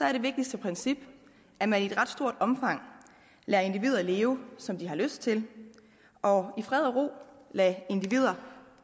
er det vigtigste princip at man i et ret stort omfang lader individer leve som de har lyst til og i fred og ro lader individer